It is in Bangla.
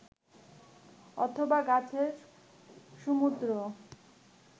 অথবা গাছের সমুদ্র